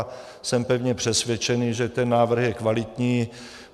A jsem pevně přesvědčený, že ten návrh je kvalitní.